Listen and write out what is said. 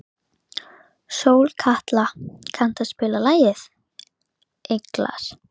Sólkatla, kanntu að spila lagið „Englar“?